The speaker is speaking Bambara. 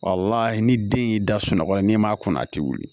ni den y'i da sunɔgɔ la n'i m'a kun a tɛ wuli